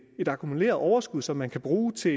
et akkumuleret overskud som man kan bruge til